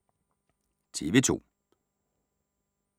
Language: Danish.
TV 2